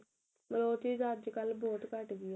ਮਤਲਬ ਉਹ ਚੀਜ ਅੱਜਕਲ ਬਹੁਤ ਘੱਟ ਗਈ ਏ